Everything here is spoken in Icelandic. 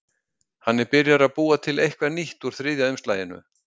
Hann er byrjaður að búa til eitthvað nýtt úr þriðja umslaginu.